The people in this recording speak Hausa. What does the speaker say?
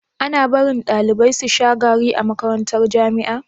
Ana barin ɗalibai susha sigari a makarantar jamia